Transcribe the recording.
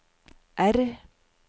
R